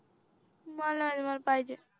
मला नाही माहित मला पाहिजे